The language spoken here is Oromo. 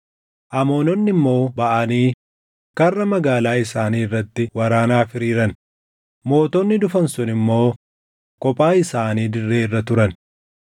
Amoononni immoo baʼanii karra magaalaa isaanii irratti waraanaaf hiriiran; mootonni dhufan sun immoo kophaa isaanii dirree irra turan.